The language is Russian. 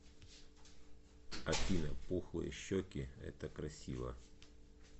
афина пухлые щеки это красиво